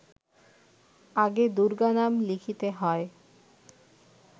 আগে দুর্গা নাম লিখিতে হয়